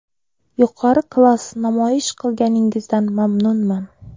Yuqori klass namoyish qilganingizdan mamnunman.